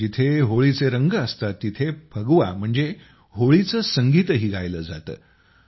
जिथं होळीचे रंग असतात तेथे फगवा म्हणजे होळीचे संगीतही गायिलं जातं